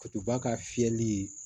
ba ka fiyɛli